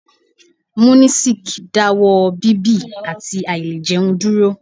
Munisik dáwọ́ ọ bíbì àti àìlẹ̀ jẹun dúró.